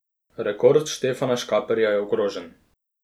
Rekord Štefana Škaperja je ogrožen.